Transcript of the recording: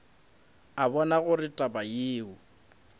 a bona gore taba yeo